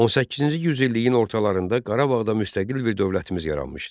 18-ci yüzilliyin ortalarında Qarabağda müstəqil bir dövlətimiz yaranmışdı.